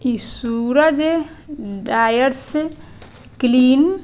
इ Suraj dryers clean --